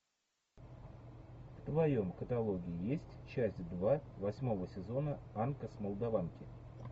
в твоем каталоге есть часть два восьмого сезона анка с молдаванки